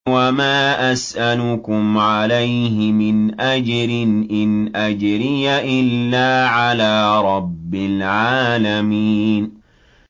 وَمَا أَسْأَلُكُمْ عَلَيْهِ مِنْ أَجْرٍ ۖ إِنْ أَجْرِيَ إِلَّا عَلَىٰ رَبِّ الْعَالَمِينَ